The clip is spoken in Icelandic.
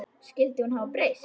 Skyldi hún hafa breyst?